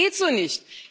Das geht so nicht!